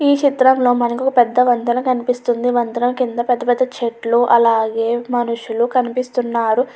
ఈ చిత్రంలోని మనకు ఒక పెద్ద వంతెన కనిపిస్తూ ఉంది. ఆ వంతెన కింద పెద్ద పెద్ద చెట్లు అలాగే మనుషులు కనిపిస్తూ ఉన్నారు.